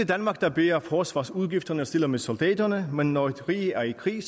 danmark der bærer forsvarsudgifterne og stiller med soldaterne men når et rige er i krig